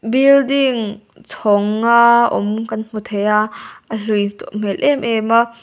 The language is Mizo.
building chhawng nga awm kan hmu thei a a hlui tawh hmel em em a.